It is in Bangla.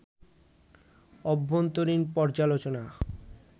অভ্যন্তরীণ পর্যালোচনা